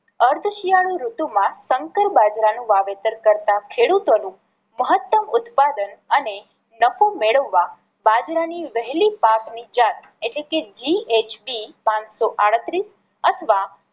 અર્ધ શિયાળુ ઋતુમાં શંકર બાજરા નું વાવેતર કરતાં ખેડૂતો નું મહતમ ઉત્પાદન અને નફો મેળવવા બાજરા ની વહેલી પાક ની જળ એટલે કે GHP પાંચ સો આડત્રીસ અથવા